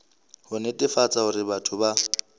ho netefatsa hore batho ba